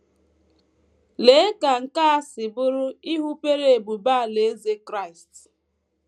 Lee ka nke a si bụrụ ịhụpere ebube Alaeze Kraịst!